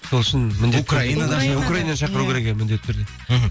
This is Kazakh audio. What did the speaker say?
сол үшін украинада шақыру керек иә міндетті түрде мхм